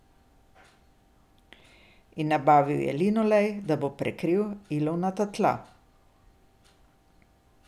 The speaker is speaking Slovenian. In nabavil je linolej, da bo prekril ilovnata tla.